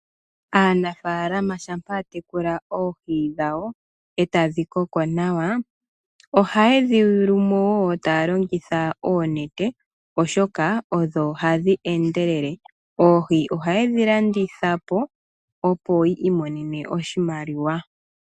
Aanafaalama shampa ya tekula oohi dhawo e tadhi koko nawa. Ohaye dhi yulu mo taya longitha oonete, oshoka odho hadhi endelele. Oohi ohaye dhi landitha po, opo yi imonena oshimaliwa.